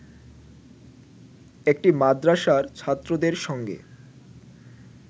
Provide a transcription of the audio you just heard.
একটি মাদ্রাসার ছাত্রদের সঙ্গে